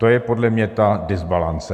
To je podle mě ta dysbalance.